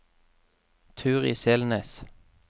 Turid Selnes